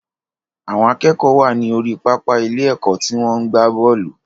Àwọn akẹ́kọ̀ọ́ wà ní orí pápá ilé ẹ̀kọ́ tí wọ́n ń gbá bọ́ọ̀lù